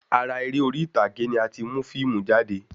Ara eré orí ìtàgé ni a ti mu fiimu jáde